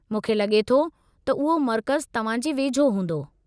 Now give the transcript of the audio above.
मूंखे लॻे थो त उहो मर्कज़ु तव्हां जे वेझो हूंदो।